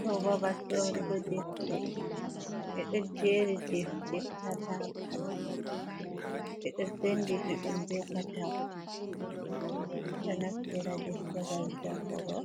Do babal sorugo defte bedo jeri defte kalakala, be do senditi dum be katako bedi naftira deftere gam jangugo